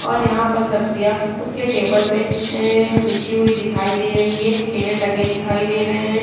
और यहाँ पर सब्जियां उसके टेबल पे एएए बिछी हुई दिखाई दे रही है केले टंगे दिखाई दे रहे हैं |